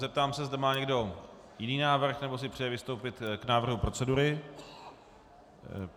Zeptám se, zda má někdo jiný návrh nebo si přeje vystoupit k návrhu procedury.